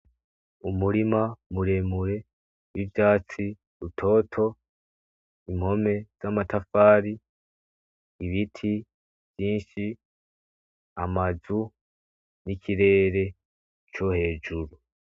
Umurima muremure w'ivyatsi, butoto, impome z'amatafari, ibiti vyinshi, amazu , n'ikirere co hejuru.